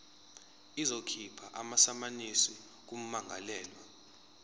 izokhipha amasamanisi kummangalelwa